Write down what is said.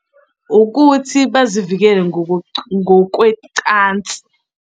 Ukuthi bazivikele ngokwecansi.